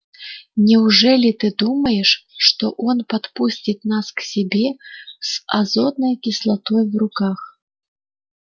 неужели ты думаешь что он подпустит нас к себе с азотной кислотой в руках